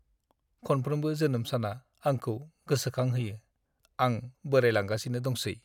खनफ्रोमबो जोनोम साना आंखौ गोसोखांहोयो आं बोराइलांगासिनो दंसै!